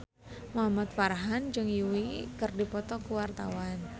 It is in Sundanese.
Muhamad Farhan jeung Yui keur dipoto ku wartawan